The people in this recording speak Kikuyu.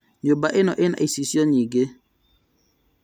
Nyũmba ĩno ĩna icicio nyingĩ